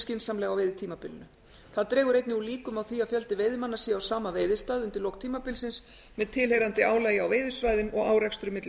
skynsamlega á veiðitímabilinu það dregur einnig úr líkum á því að fjöldi veiðimanna sé á sama veiðistað undir lok tímabilsins með tilheyrandi álagi á veiðisvæðum og árekstrum milli